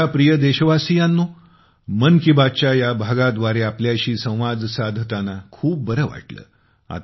माझ्या प्रिय देशवासियांनो 'मन की बात' च्या या भागाद्वारे आपल्याशी संवाद साधताना खूप बरे वाटले